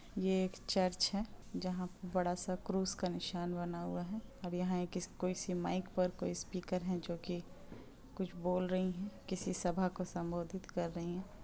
यह एक चर्च है जहां पर बड़ा सा क्रूज का निशान बना हुआ है और यहां पर कोई माइक कोई स्पीकर है जो की कुछ बोल रही हैं किसी सभा को संबोधित कर रही हैं।